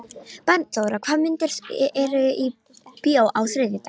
Bjarnþóra, hvaða myndir eru í bíó á þriðjudaginn?